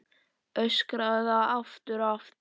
Öskraði það aftur og aftur.